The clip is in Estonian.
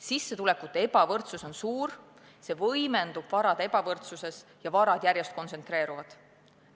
Sissetulekute ebavõrdsus on suur, see võimendub varade ebavõrdsuses ja varad järjest kontsentreeruvad.